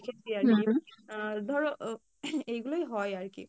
দেখেছি আর কী আহ ধরো আহ এইগুলোই হয় আর কী।